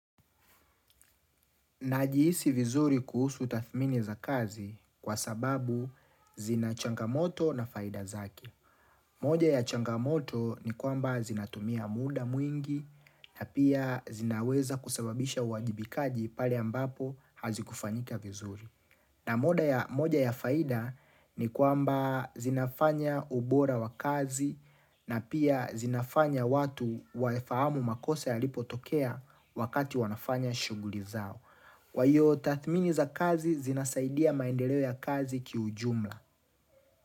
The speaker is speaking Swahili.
Najihisi vizuri kuhusu tathmini za kazi kwa sababu zina changamoto na faida zake moja ya changamoto ni kwamba zinatumia muda mwingi na pia zinaweza kusababisha uwajibikaji pale ambapo hazikufanika vizuri. Na moja ya faida ni kwamba zinafanya ubora wa kazi na pia zinafanya watu waifahamu makosa yalipotokea wakati wanafanya shughuli zao. Kwa hiyo, tathmini za kazi zinasaidia maendeleo ya kazi kiujumla.